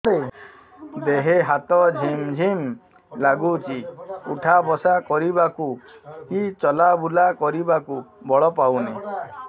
ଦେହେ ହାତ ଝିମ୍ ଝିମ୍ ଲାଗୁଚି ଉଠା ବସା କରିବାକୁ କି ଚଲା ବୁଲା କରିବାକୁ ବଳ ପାଉନି